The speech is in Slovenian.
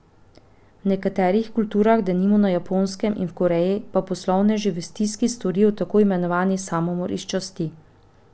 V nekaterih kulturah, denimo na Japonskem in v Koreji, pa poslovneži v stiski storijo tako imenovani samomor iz časti.